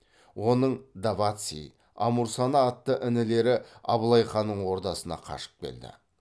оның даваци амурсана атты інілері абылай ханның ордасына қашып келді